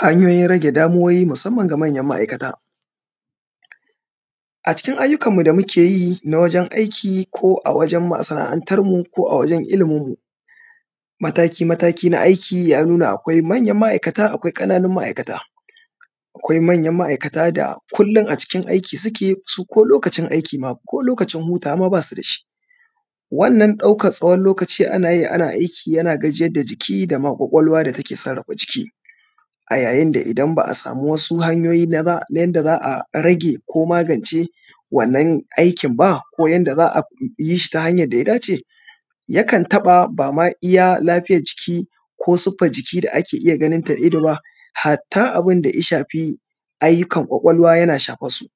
Hanyoyin rage damuwowi musamman ga manyan ma’aikata, a cikin ayyukanmu da muke yi na wajen aiki, ko a wajen masana’antarmu, ko a wajen iliminmu, mataki-mataki na aiki ya nuna akwai manyan ma’aikata, akwai ƙananun ma’aikata. Akwai manyan ma’aikata da kullin a cikin aiki suke, su ko lokacin aiki ma; ko lokacin hutawa ma ba su da shi, wannan ɗaukats tsawon lokaci ana yi ana aiki yana gajiyar da jiki da ma ƙwaƙwalwa da take sarrafa jiki a yayin da idan ba a sami wasu hanyoyi na za; na yanda za a rage ko magance wannan aikin ba, ko yanda za a yi shi ta hanyan da ya dace, yakan taƃa ba ma iya lafiyaj jiki ko siffaj jiki da ake iya ganin ta da ido ba, hatta abin da i shafi, ayyukan ƙwaƙwalwa yana shafas su.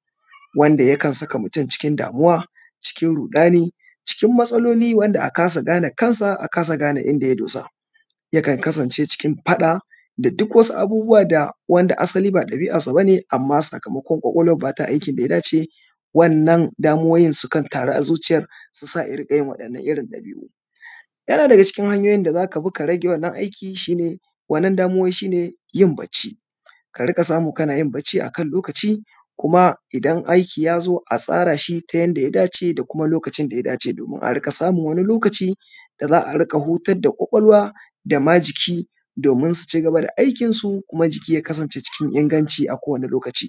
Wanda yakan saka mutun cikin damuwa, cikin ruɗani, cikin matsaloli wanda a kasa gana kan sa, a kasa gane inda ya dosa. Yakan kasance cikin faɗa da duk wasu abubuwa da wanda asali ba ɗabi’assa ba ne, amma sakamakon ƙwaƙwalwar ba ta aikin da ya dace, wannan damuwowin sukan taru a zuciyar, su sa ya riƙa yin waɗannan irin ɗabi’u. Yana daga cikin hanyoyin da za ka bi ka rage wannan aiki shi ne, wannan damuwowin shi ne, yin bacci. Ka riƙa samu kana yin bacci a kan lokaci, kuma idan aiki ya zo, a tsara shi ta yanda ya dace da kuma lokacin da ya dace domin a riƙa samun wani lokaci, da za a riƙa hutad da ƙwaƙwalwa da ma jiki, domin su ci gaba da aikin su kuma jiki ya kasance cikin inganci a kowane lokaci.